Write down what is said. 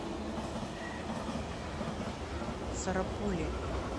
сарапуле